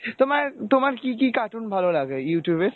তোমার তোমার কী কী cartoon ভালো লাগে Youtube এ ?